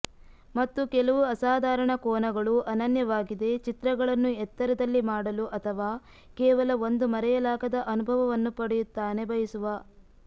ಮತ್ತು ಕೆಲವು ಅಸಾಧಾರಣ ಕೋನಗಳು ಅನನ್ಯವಾಗಿದೆ ಚಿತ್ರಗಳನ್ನು ಎತ್ತರದಲ್ಲಿ ಮಾಡಲು ಅಥವಾ ಕೇವಲ ಒಂದು ಮರೆಯಲಾಗದ ಅನುಭವವನ್ನು ಪಡೆಯುತ್ತಾನೆ ಬಯಸುವ